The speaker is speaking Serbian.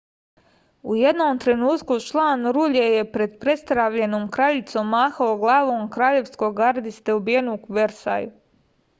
u jednom trenutku član rulje je pred prestravljenom kraljicom mahao glavom kraljevskog gardiste ubijenog u versaju